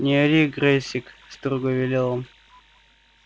не ори грэйсик строго велел